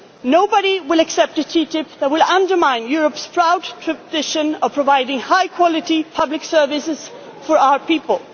secret tribunals. Nobody will accept a TTIP that will undermine Europe's proud tradition of providing high quality public services